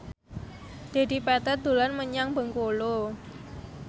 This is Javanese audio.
Dedi Petet dolan menyang Bengkulu